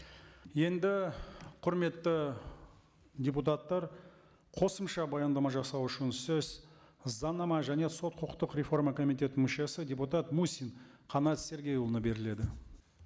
енді құрметті депутаттар қосымша баяндама жасау үшін сөз заңнама және сот құқықтық реформа комитетінің мүшесі депутат мусин қанат сергейұлына беріледі